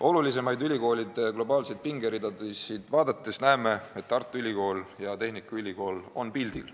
Olulisemaid ülikoolide globaalseid pingeridasid vaadates näeme, et Tartu Ülikool ja Tallinna Tehnikaülikool on pildil.